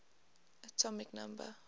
atomic number